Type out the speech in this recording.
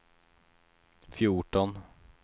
fjorton